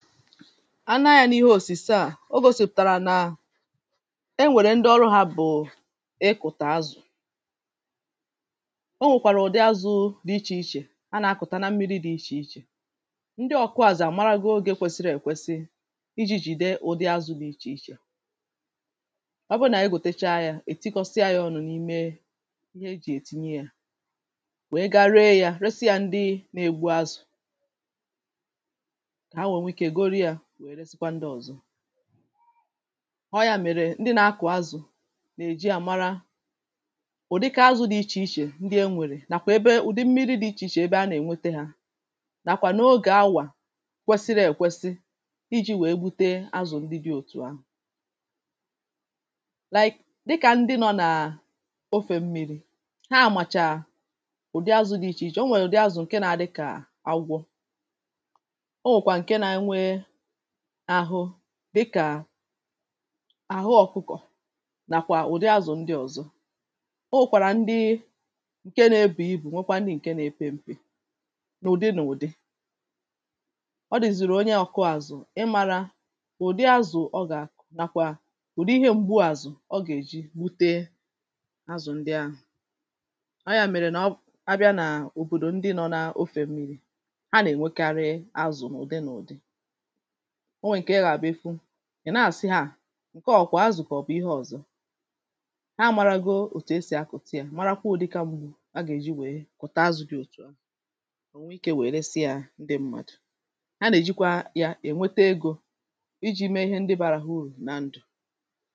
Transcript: a naa ya n’ihe òsìse à, o gȯsìpụ̀tàrà na e nwèrè ndị ọrụ yȧ bụ̀ ịkụ̀tà azụ̀ o nwèkwàrà ụ̀dị azụ̇ dị ichè ichè, a nà-akụ̀ta na mmiri dị̇ ichè ichè ndị ọ̀kụ azụ̀ àmarago ogė kwesịrị èkwesi iji̇ jìde ụ̀dị azụ̇ dị ichè ichè à ọ bụrụ nà ị gòtacha yȧ, è tikọsịa yȧ ọ̇nụ̀ n’ime ihe e jì ètinye yȧ wèe ga ree yȧ, resi yȧ ndị n’egbu azụ̀ ọ yȧ mèrè ndị na-akụ̀ azụ̀ nà-èji àmara ụ̀dịka azụ̇ dị̇ ichè ichè ndị e nwèrè nàkwà ebe ụ̀dị mmiri dị̇ ichè ichè ebe a nà-ènwete hȧ nàkwà n’ogè awà kwesiri èkwesi iji̇ wèe gbute azụ̀ ndị dị̇ òtù awà like dịkà ndị nọ̇ nà ofè mmi̇ri ha àmàchà ụ̀dị azụ̇ dị̇ ichè ichè, o nwèè ụ̀dị azụ̀ ǹke nȧ-ȧdị kà agwọ ahụ̀ dị̀kà ahụ ọ̀kụkọ̀ nàkwà ụ̀dị azụ̀ ndị ọ̀zọ o nwèkwàrà ndị ǹke na-ebù igbò nwekwa ndị ǹke na-epe ṁpė n’ụ̀dị n’ụ̀dị ọ dị̀zị̀rị̀ onye ọ̀kụ azụ̀ ị màrà ụ̀dị azụ̀ ọ gà-ànàkwà ụ̀dị ihe mgbu àzụ̀ ọ gà-èji gbute azụ̀ ndị ahụ̀ ọ yȧ mèrè nà ọ abịa nà òbòdò ndị nọ̇ n’ofe mmiri a nà-ènwekarị azụ̀ n’ụ̀dị n’ụ̀dị ị̀ nàsị ha à ǹke ọ̀kwà azụ̀kọ̀ bụ̀ ihe ọ̀zọ ha amȧrago òtù esì akụ̀ta yȧ, mara akwụ̇ ụ̀dịka mgbu a gà-èji nwèe kwụ̀ta azụ̇ dị òtù anụ̇ ònwe ikė nwèe resi yȧ ndị ṁmȧdụ̀ a nà-èji kwa ya ènwete egȯ iji̇ mee ihe ndị bȧra ya urù na ndụ̀